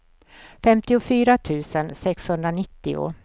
femtiofyra tusen sexhundranittio